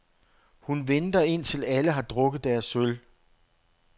Hun venter, indtil alle har drukket deres øl.